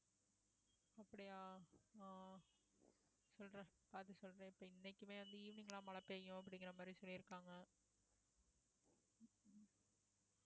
அப்படியா அஹ் சொல்றா பாத்து சொல்றேன் இப்ப இன்னைக்குமே வந்து evening லாம் மழை பெய்யும் அப்படிங்கிற மாதிரி சொல்லியிருக்காங்க